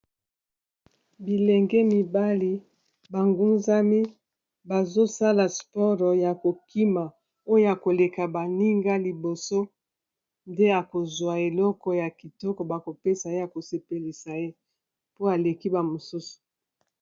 Bilenge mibali bangunzami bazosala sport ya kokima oyo akoleka baninga liboso nde akozwa eloko ya kitoko ba kopesa ye a kosepelisa ye po aleki ba mosusu.